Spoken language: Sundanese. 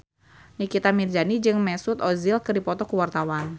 Nikita Mirzani jeung Mesut Ozil keur dipoto ku wartawan